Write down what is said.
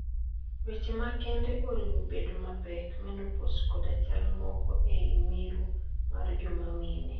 weche ma kende oriwo bedo mapek, menopause koda chal moko e i miru mar joma mine